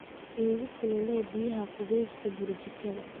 Igu kululee biyaa qubeysto burjikada.